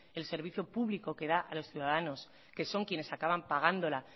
el servicio público que da a los ciudadanos que son quienes acaban pagándola